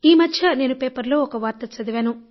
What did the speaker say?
ఈ మధ్య నేను పేపర్లో ఒక వార్త చదివాను